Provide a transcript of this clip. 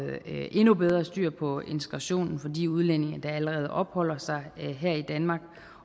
endnu bedre styr på integrationen for de udlændinge der allerede opholder sig her i danmark